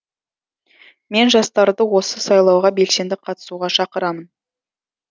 мен жастарды осы сайлауға белсенді қатысуға шақырамын